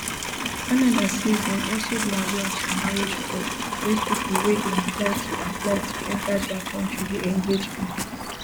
canada say dem also dey aware of some marriage fraud wey pipo wey dey apply to apply to enta dia kontri dey engage in